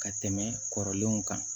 Ka tɛmɛ kɔrɔlenw kan